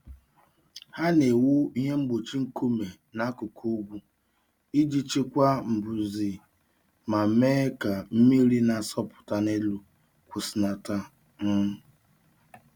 Ha na-ewu ihe mgbochi nkume n'akụkụ ugwu iji chịkwaa mbuze ma mee ka mmiri na-asọpụta n'elu kwụsịlata. um